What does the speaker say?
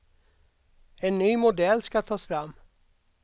En ny modell ska tas fram.